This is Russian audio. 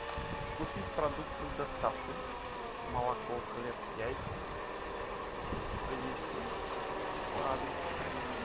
купить продукты с доставкой молоко хлеб яйца привезти по адресу